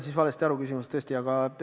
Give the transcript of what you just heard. Jah, ma sain küsimusest tõesti valesti aru.